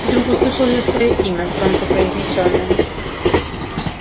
вдруг услышал я своё имя громко произнесённое